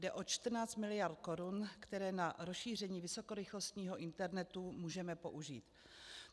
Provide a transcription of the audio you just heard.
Jde o 14 miliard korun, které na rozšíření vysokorychlostního internetu můžeme použít.